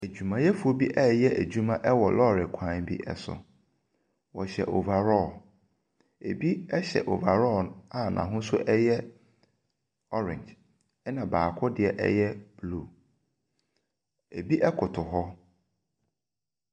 Adwumayɛfoɔ bi reyɛ adwuma wɔ lɔri kwan bi so. Wɔhyɛ overall. Ebi hyɛ overall a n'ahosuo ɛyɛ orange, ɛna baako deɛ ɛyɛ blue. ebi ɛkoto hɔ.